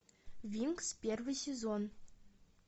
винкс первый сезон